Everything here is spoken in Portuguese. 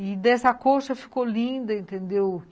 E dessa coxa ficou linda, entendeu?